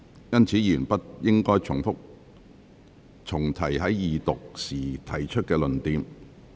因此，委員不應重提在二讀辯論時曾提出的論點。